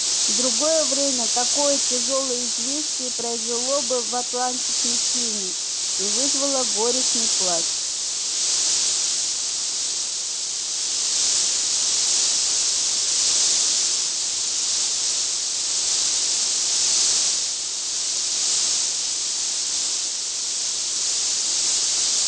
в другое время такое тяжёлое известие произвело бы в атланте смятение и вызвало горестный плач